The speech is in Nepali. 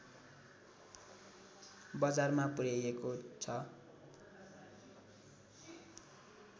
बजारमा पुर्‍याइएको छ